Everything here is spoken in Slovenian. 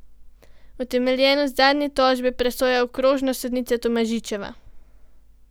Utemeljenost zadnje tožbe presoja okrožna sodnica Tomažičeva.